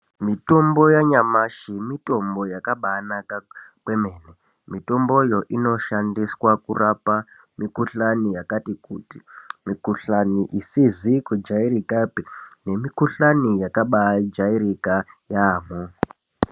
Mitombo yanyamashi mitombo yakambaanaka kwemene. Mitomboyo inoshandiswa kurapa mikhuhlani yakati kuti mikhuhlani isizi kujairika nemikhuhlani yakabajairika yaamhpo.